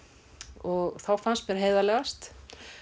og þá fannst mér heiðarlegast